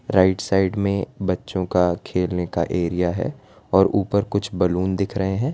Right side में बच्चों का खेलने का एरिया है और ऊपर कुछ बैलून दिख रहे हैं।